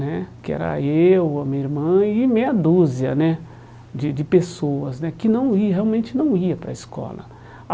Né que era eu, a minha irmã e meia dúzia né de de pessoas né que não ia realmente não iam para a escola.